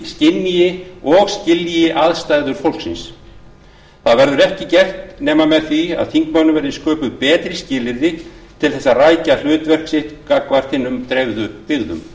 skynji og skilji aðstæður fólksins það verður ekki gert nema með því að þingmönnum verði sköpuð betri skilyrði til þess að rækja hlutverk sitt gagnvart hinum dreifðu byggðum